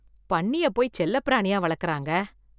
பன்னியப் போய் செல்லப்பிராணியா வளக்குறாங்க.